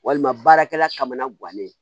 Walima baarakɛla kamana guwanen